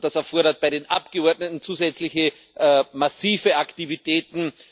Das erfordert bei den Abgeordneten zusätzliche massive Aktivitäten.